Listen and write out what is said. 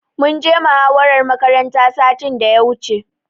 Mun je muhawarar makaranta satin da ya wuce.